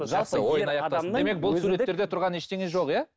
демек бұл суреттерде тұрған ештеңе жоқ иә